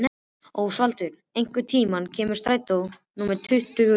Ósvaldur, hvenær kemur strætó númer tuttugu og sjö?